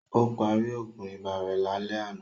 Ó parí Ògùn ibà rẹ̀ lálẹ́ àná